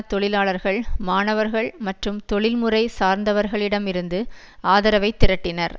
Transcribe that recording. தொழிலாளர்கள் மாணவர்கள் மற்றும் தொழில்முறை சார்ந்தவர்களிடமிருந்து ஆதரவை திரட்டினர்